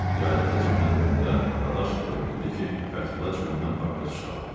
Yaylığı cibinə qoyanda Dadaşov elə bildi ki, Fətulla cibindən papiros çıxarır.